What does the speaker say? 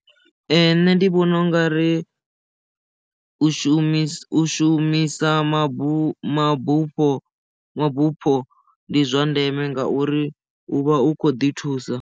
Ee nṋe ndi vhona u nga ri u shumisa u shumisa mabufho mabufho mabufho ndi zwa ndeme ngauri u vha u kho ḓi thusa.